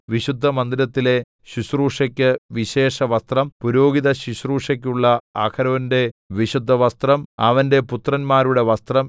വിശുദ്ധമന്ദിരത്തിലെ ശുശ്രൂഷയ്ക്കു വിശേഷവസ്ത്രം പുരോഹിതശുശ്രൂഷയ്ക്കുള്ള അഹരോന്റെ വിശുദ്ധവസ്ത്രം അവന്റെ പുത്രന്മാരുടെ വസ്ത്രം